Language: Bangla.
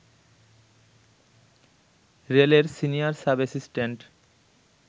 রেলের সিনিয়র সাব অ্যাসিস্ট্যান্ট